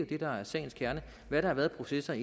det der er sagens kerne hvad der har været af processer